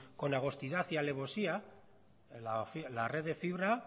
con agostidad y alevosía la red de fibra